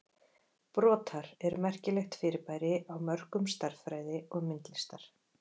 Brotar eru merkilegt fyrirbæri á mörkum stærðfræði og myndlistar.